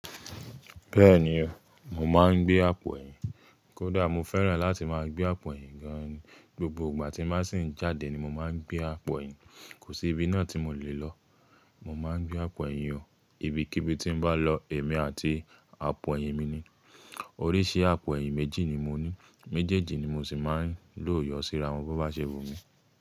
Bẹ́ẹ̀ni o, mo máa ń gbé àpò ẹ̀yìn. Kódà mo fẹ́ràn láti máa gbé àpò ẹ̀yìn gan ni. Gbogbo ìgbà tí n ba sì ń jáde ni mo máa ń gbé àpò ẹ̀yìn. Kò sí ibi náà tí mo lè lọ, mo máa n gbé àpò ẹ̀yìn o. Ibi kí bi tí n bá lọ, èmi àti àpò ẹ̀yìn mi ni. Oríṣi àpò ẹ̀yìn méjì ni mo ní. Méjèèjì ni mo sì máa ń lò yọ síra wọn bó bá ṣe wú mi.